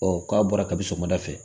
Ɔ k'a bɔra kabi sɔgɔmada fɛ